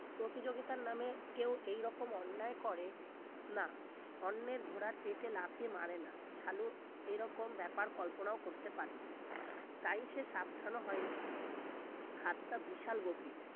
প্রতিযোগিতার নামে কেউ এরকম অন্যায় করে না অন্যের ঘোড়ার পেটে লাথি মারে না সালু এরকম ব্যাপার কল্পনাও করতে পারিনি তাই সে সাবধান হয়নি খাতটা বিশাল গভীর